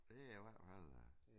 Det er i hvert fald da